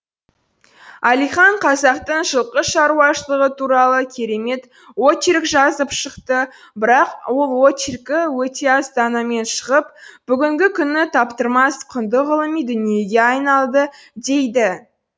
әлихан қазақтың жылқы шаруашылығы туралы керемет очерк жазып шықты бірақ ол очеркі өте аз данамен шығып бүгінгі күні таптырмас құнды ғылыми дүниеге айналды дейді